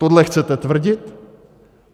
Tohle chcete tvrdit?